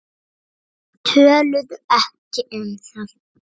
Töluðu ekki um það.